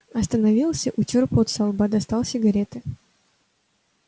остановился утёр пот со лба достал сигареты